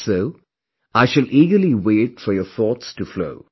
So, I shall eagerly wait for your thoughts to flow